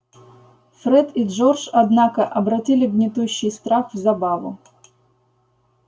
фред и джордж однако обратили гнетущий страх в забаву